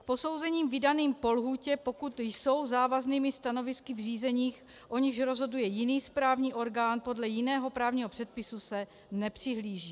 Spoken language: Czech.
K posouzením vydaným po lhůtě, pokud jsou závaznými stanovisky v řízeních, o nichž rozhoduje jiný správní orgán podle jiného právního předpisu, se nepřihlíží.